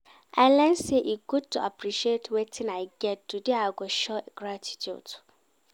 I learn sey e good to appreciate wetin I get, today I go show gratitude.